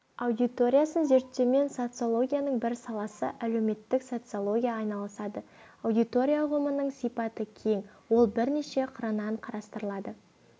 аудиториясын зерттеумен социологияның бір саласы әлеуметтік социология айналысады аудитория ұғымының сипаты кең ол бірнеше қырынан қарастырылады